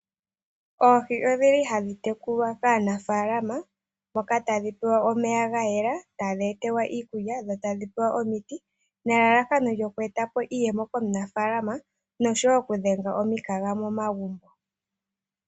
Oohi ohadhi tekulwa kaanafalama moka tadhi pewa omeya ga yela tadhi etelwa iikulya , dho tadhi pewa omiti nelalakano lyoku etela omunafaalama iiyemo noshowo okutidha po omukaga momagumbo.